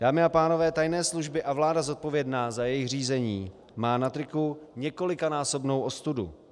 Dámy a pánové, tajné služby a vláda, zodpovědná za jejich řízení, má na triku několikanásobnou ostudu.